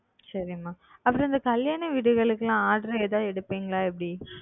சரி மா அப்புறம் இந்த கல்யாண வீடுகளுக்குலாம் order ஏதாது எடுப்பீங்களா எப்படி?